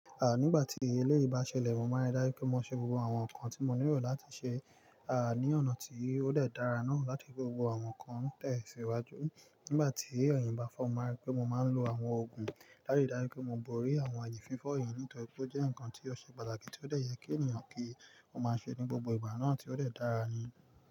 Ah, nígbà tí eléyìí bá ṣẹlẹ̀, mo máa ń rí dájú pé mo ṣe gbogbo àwọn nǹkan tí mo nílò láti ṣe, ah, ní ọ̀nà tí ó dẹ́ dára náà láti gbogbo àwọn nǹkan tẹ̀síwájú. Nígbà tí ẹ̀yìn bá fọ́ mi, mo máa ń rí pé mo máa ń lo àwọn òògùn láti rí dájú pé mo borí àwọn àyè fífọ́ yìí nítorí tó jẹ́ ǹkan tí ó ṣe pàtàkì tí ó dẹ́yẹ kí ènìyàn kí ó máa ṣe ní gbogbo ìgbà náà tí ó dẹ́ dára ni.